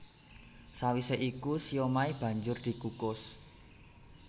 Sawisé iku siomai banjur dikukus